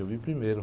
Eu vi primeiro.